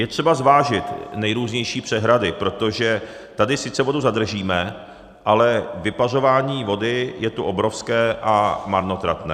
Je třeba zvážit nejrůznější přehrady, protože tady sice vodu zadržíme, ale vypařování vody je tu obrovské a marnotratné.